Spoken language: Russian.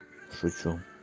шучу